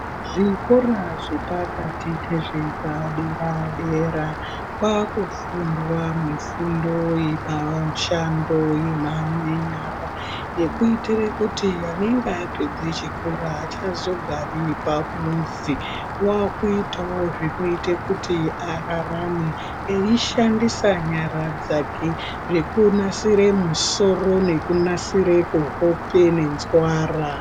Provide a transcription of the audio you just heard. Zvikora zvepakati nezvepadera-dera kwakufundwa mifundo mishando yenyara yekuitire kuti unenge apedze chikora achazogari pamuzi wakuitawo zvinoite kuti ararame eishandisa nyara dzake zvekunasire musoro kuhope nenzwara.